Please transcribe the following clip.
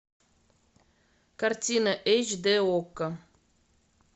картина эйч дэ окко